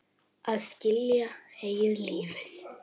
Að skilja eigið líf.